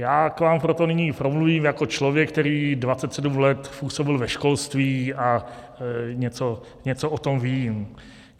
Já k vám proto nyní promluvím jako člověk, který 27 let působil ve školství a něco o tom ví.